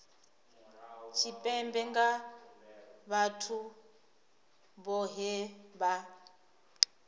tshipembe nga vhathu vhohe vha